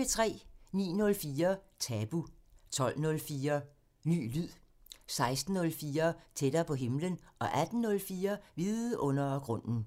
09:04: Tabu 12:04: Ny lyd 16:04: Tættere på himlen 18:04: Vidundergrunden